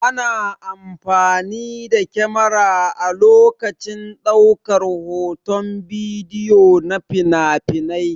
Ana amfani da kyamara a lokacin ɗaukar hoton bidiyo na finafinai.